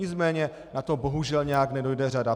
Nicméně na to bohužel nějak nedojde řada.